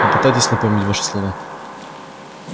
попытайтесь напомнить ваши слова